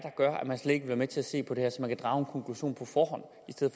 man slet ikke vil være med til at se på det her og